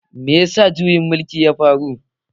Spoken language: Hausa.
Me ya sa juyin mulkin ya faru?